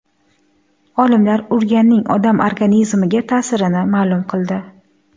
Olimlar ugraning odam organizmiga ta’sirini ma’lum qildi.